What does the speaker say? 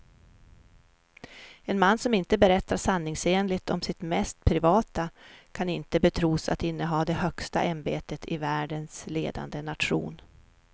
En man som inte berättar sanningsenligt om sitt mest privata kan inte betros att inneha det högsta ämbetet i världens ledande nation.